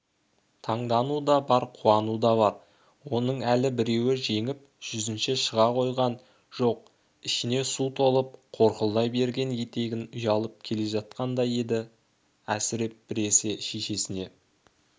таңдануы да бар қуануы да бар оның әлі біреуі жеңіп жүзіне шыға қойған жоқ ішіне су толып қорқылдай берген етігінен ұялып келе жатқандай еді әсіреп біресе шешесіне